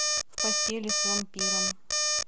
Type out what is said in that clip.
в постели с вампиром